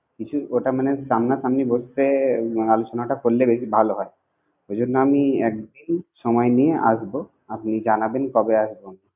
বিশেষ কথা মনে হচ্ছে আমরা ফোনে ব্যাস্ত, দেখাশুনাটা করলে বেশি ভালো হয়। সামনা সামনী বসলে দেখাশুনাটা করলে ভালো। সেই জন্য একদিন সময় নিয়ে আসবো। আপনি জানাবেন কবে আসবো